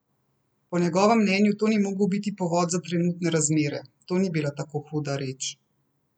Po njegovem mnenju to ni mogel biti povod za trenutne razmere: "To ni bila tako huda reč.